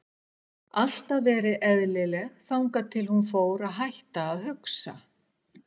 Alltaf verið eðlileg þangað til að hún fór að hætta að hugsa.